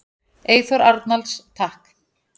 Eyþór Arnalds: Takk.